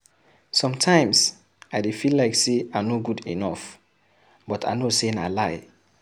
Sometimes, I dey feal like I no good enough but I know sey na lie.